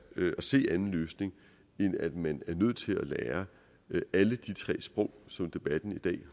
at se anden løsning end at man er nødt til at lære alle tre sprog som debatten i dag